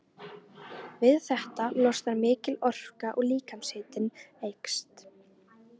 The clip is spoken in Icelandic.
Við þetta losnar mikil orka og líkamshitinn eykst.